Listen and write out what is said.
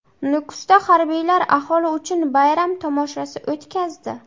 Nukusda harbiylar aholi uchun bayram tomoshasi o‘tkazdi .